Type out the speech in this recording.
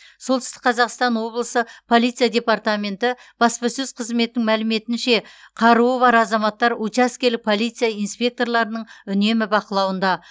солтүстік қазақстан облысы полиция департаменті баспасөз қызметінің мәліметінше қаруы бар азаматтар учаскелік полиция инспекторларының үнемі бақылауында